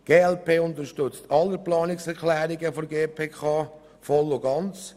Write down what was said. Die glp unterstützt alle Planungserklärungen der GPK voll und ganz.